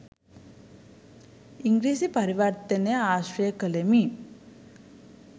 ඉංග්‍රීසි පරිවර්තනය ආශ්‍රය කළෙමි.